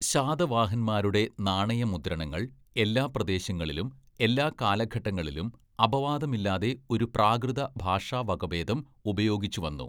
ശാതവാഹൻമാരുടെ നാണയ മുദ്രണങ്ങള്‍ എല്ലാ പ്രദേശങ്ങളിലും എല്ലാ കാലഘട്ടങ്ങളിലും അപവാദമില്ലാതെ ഒരു പ്രാകൃത ഭാഷാവകഭേദം ഉപയോഗിച്ചുവന്നു.